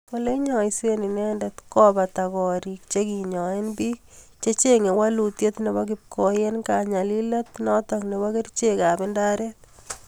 Oleinyaisee inendet kopataaa korik chekinyae piik chechenge walutiep nepo kipkoi eng kanyalileet notok nepoo kericheek ap indaret